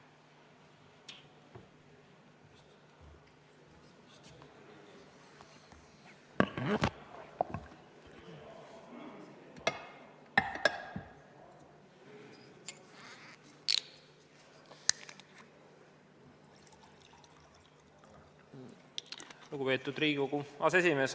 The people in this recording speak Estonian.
Lugupeetud Riigikogu aseesimees!